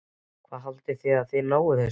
Hvað haldið þið að þið náið þessu?